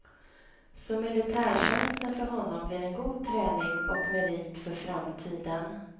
Så militärtjänsten för honom blir en god träning och merit för framtiden.